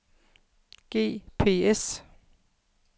GPS